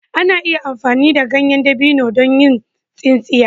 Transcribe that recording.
Ana iya amfani da ganyen dabino don yin tsintsiya.